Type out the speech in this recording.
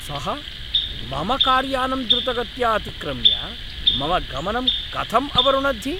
सः मम कार्यानम् द्रुतगत्या अतिक्रम्य मम गमनं कथम् अवरुणद्धि?